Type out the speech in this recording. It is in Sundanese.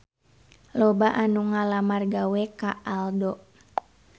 Loba anu ngalamar gawe ka Aldo